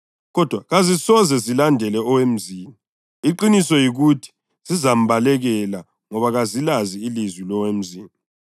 Kodwa kazisoze zilandele owemzini; iqiniso yikuthi zizambalekela ngoba kazilazi ilizwi lowemzini.”